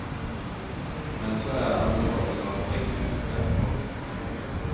Men så är han ju också av brittisk härkomst.